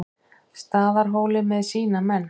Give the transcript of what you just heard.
Staðarhóli með sína menn.